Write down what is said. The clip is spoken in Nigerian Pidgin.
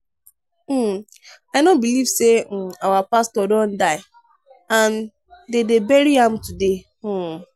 um i no believe say um our pastor don die and de dey bury am today um.